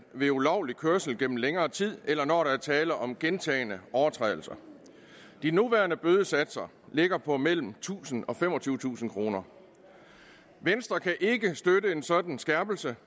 ved ulovlig kørsel gennem længere tid eller når der er tale om gentagne overtrædelser de nuværende bødesatser ligger på mellem tusind kroner og femogtyvetusind kroner venstre kan ikke støtte en sådan skærpelse